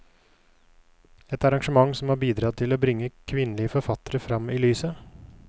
Et arrangement som har bidratt til å bringe kvinnelige forfattere frem i lyset.